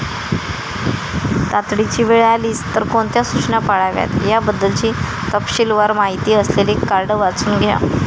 तातडीची वेळ आलीच तर कोणत्या सूचना पाळाव्यात याबद्दलची तपशीलवार माहिती असलेले कार्ड वाचून घ्या.